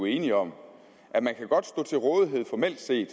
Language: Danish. enige om at man formelt set